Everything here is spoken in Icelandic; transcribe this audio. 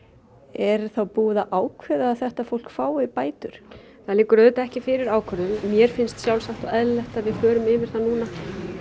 er þá búið að ákveða að þetta fólk fái bætur það liggur auðvitað ekki fyrir ákvörðun mér finnst sjálfsagt og eðlilegt að við förum yfir það núna